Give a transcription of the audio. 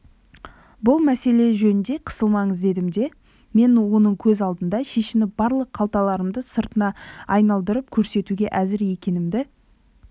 бұл мәселе жөнінде қысылмаңыз дедім де мен оның көз алдында шешініп барлық қалталарымды сыртына айналдырып көрсетуге әзір екенімді